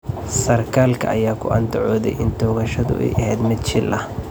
Sarkaalka ayaa ku andacooday in toogashadu ay ahayd mid shil ah.